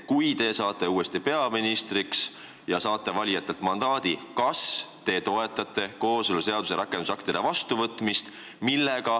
Kui te saate uuesti peaministriks, kui te olete valijatelt mandaadi saanud, kas te toetate kooseluseaduse rakendusaktide vastuvõtmist?